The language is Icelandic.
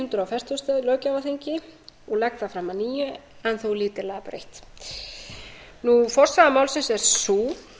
hundrað fertugasta löggjafarþingi og legg það fram að nýju en þó lítillega breytt forsaga málsins er sú